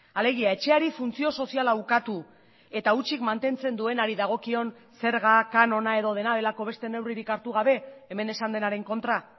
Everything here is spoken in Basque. alegia etxeari funtzio soziala ukatu eta hutsik mantentzen duenari dagokion zerga kanona edo dena delako beste neurririk hartu gabe hemen esan denaren kontra